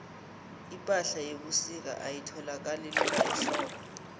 ipahla yebusika ayitholakali lula ehlobo